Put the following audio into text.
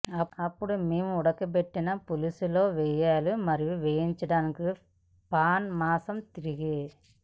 అప్పుడు మేము ఉడకబెట్టిన పులుసు లో పోయాలి మరియు వేయించడానికి పాన్ మాంసం తిరిగి